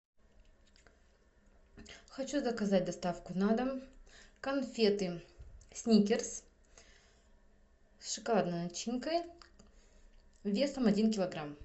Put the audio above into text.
хочу заказать доставку на дом конфеты сникерс с шоколадной начинкой весом один килограмм